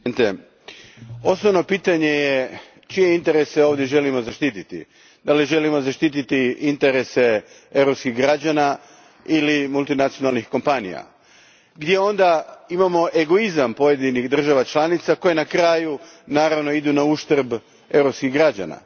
Gospodine predsjedniče, osnovno pitanje je čije interese ovdje želimo zaštititi. Želimo li zaštititi interese europskih građana ili multinacionalnih kompanija, gdje onda imamo egoizam pojedinih država članica koje na kraju, naravno, idu nauštrb europskih građana.